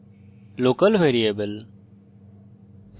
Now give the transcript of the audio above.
local variable